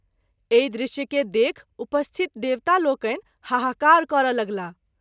एहि दृश्य के देखि उपस्थित देवता लोकनि हाहाकार करय लगलाह।